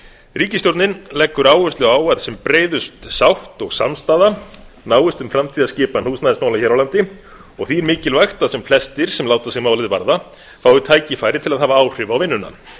ríkisstjórnin leggur áherslu á að sem breiðust sátt og samstaða náist um framtíðarskipan húsnæðismála hér á landi og því mikilvægt að sem flestir sem láta sig málið varða fái tækifæri til að hafa áhrif á vinnuna